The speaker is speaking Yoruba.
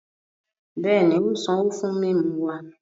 Bẹẹni, o n sanwo fún mímú wa